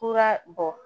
Kura bɔ